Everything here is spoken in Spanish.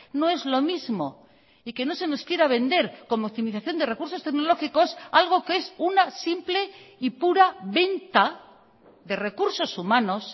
no es lo mismo y que no se nos quiera vender como optimización de recursos tecnológicos algo que es una simple y pura venta de recursos humanos